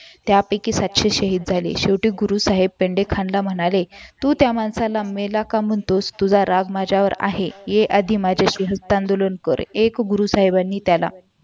त्यापैकी सातशे शहीद झाले शेवटी गुरु साहेब पांडे खानला म्हणाले तू त्या माणसांना मेला का म्हणतोस तुझा राग माझ्याशी आहे ही माझ्यासोबत युक्त आंदोलन कर एक गुरु साहेबांनी त्याला